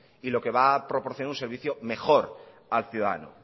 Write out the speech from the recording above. y lo que va proporcionar un servicio mejor al ciudadano